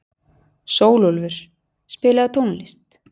Sólúlfur, spilaðu tónlist.